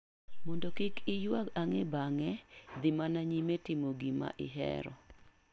Mondo kik iywag ang'e bang'e, dhi mana nyime timo gima ihero.